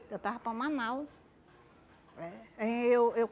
Eu estava para Manaus. É. Eu eu